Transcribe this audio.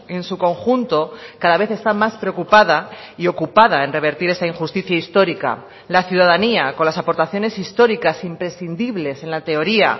en su conjunto cada vez está más preocupada y ocupada en revertir esta injusticia histórica la ciudadanía con las aportaciones históricas imprescindibles en la teoría